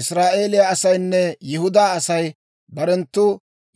«Israa'eeliyaa asaynne Yihudaa Asay barenttu